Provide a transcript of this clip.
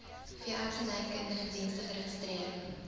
veeartsenykundige dienste geregistreer